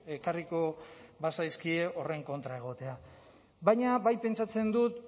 ekarriko bazaizkio horren kontra egotea baina bai pentsatzen dut